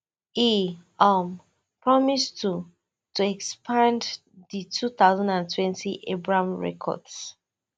e um promise to to expand di two thousand and twenty abraham records